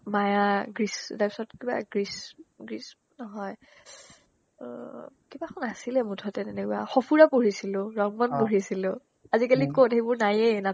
মায়া গ্ৰীচ তাৰপিছত কিবা গ্ৰীচ গ্ৰীচ নহয় অ অ কিবা এখন আছিলে মুঠতে তেনেকুৱা সঁফুৰা পঢ়িছিলো, ৰংমন পঢ়িছিলো আজিকালি ক'ত সেইবোৰ নাইয়ে নাপায়